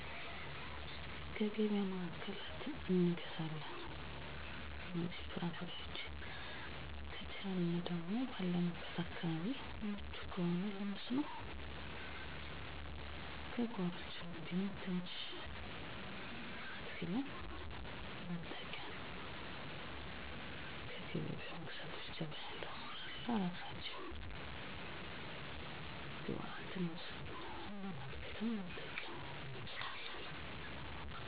በአካባቢያችን የምግብ አይነቶች ማለትም የስጋ ምርቶችን ደሮ በግ ላም እና በሬ ቀጥታ ከአምራቹ አርሶ አደሮች የምንገዛው ሲሆን ወተትና የወተት ተዋፅኦዎችን ቤትለቤት የሚሸጡ አርቢዎች ይሆናል አትክልትና ፍራፍሬዎችን ሙዝ ማንጎ አቮካዶ ብርቱካን ሀባብ የመሳሰሉትከየገቢያ ማዕከላትእና ሱፐር ማርኬቶች የምንገዛ ሲሆን ሌሎች ጥራጥሬዎች የብዕርና የአገዳ ሰብሎችን ከቸርቻሪዎች የሚገዙ ሲሆን ድንች ቲማቲም ቃሪያ ጎመን የመሳሰሉት በየ ቦታው ካሉ ቸርቻሪ ጉልት ሻጮች ይገኛል የቤት ዕቃዎች እነ ቁሳቁሶች ከገቢያ ማዕከላት እንገዛለን